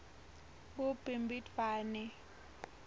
kubimbidvwane